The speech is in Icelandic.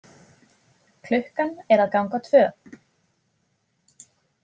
Klukkan er að ganga tvö.